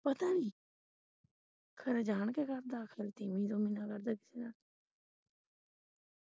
ਪਤਾ ਨੀ ਖਰੇ ਜਾਣ ਕੇ ਕਰਦਾ ਖਰੇ ਤੀਵੀਂ ਤੁਵੀਂ ਨਾਲ ਕਰਦਾ।